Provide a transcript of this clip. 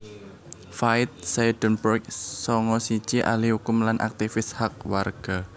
Faith Seidenberg sanga siji ahli kukum lan aktivis hak warga